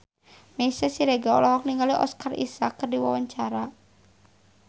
Meisya Siregar olohok ningali Oscar Isaac keur diwawancara